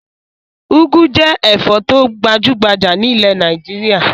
Úgú jẹ́ ẹ̀fọ́ tó gbajú-gbajà nílẹ̀ Nàìjíríà.